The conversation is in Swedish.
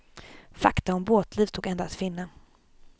Fakta om båtliv stod ändå att finna.